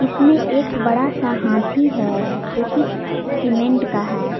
इसमें एक बड़ा सा हाथी है जो की सीमेंट का है।